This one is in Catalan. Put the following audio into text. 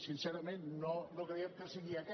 sincerament no creiem que sigui aquest